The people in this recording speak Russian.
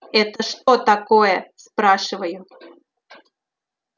это что такое спрашиваю